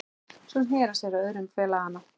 Svo sneri hann sér að öðrum félaganna